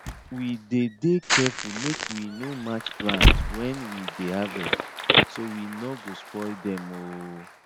we dey dey careful make we no match plants when we dey harvest so we no go spoil dem um